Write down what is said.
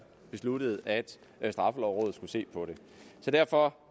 besluttede at at straffelovrådet skulle se på det så derfor